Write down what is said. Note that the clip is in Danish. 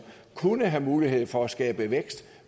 kunne have mulighed for at skabe vækst